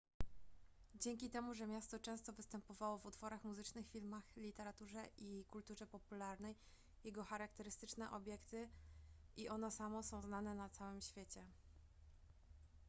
dzięki temu że miasto często występowało w utworach muzycznych filmach literaturze i kulturze popularnej jego charakterystyczne obiekty i ono samo są znane na całym świecie